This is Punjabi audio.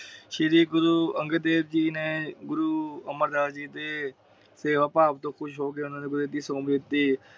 ਸ਼੍ਰੀ ਗੁਰੂ ਅੰਗਦ ਦੇਵ ਜੀ ਨੇ ਗੁਰੂ ਅਮਰ ਦਾਸ ਜੀ ਦੇ ਸੇਵਾ ਭਾਵ ਤੋਂ ਖੁਸ ਹੋ ਕੇ ਓਹਨਾ ਨੂੰ ਗੁਰਗੱਦੀ ਸੌਪ ਦਿਤੀ ।